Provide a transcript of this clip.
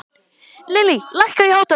Lillý, lækkaðu í hátalaranum.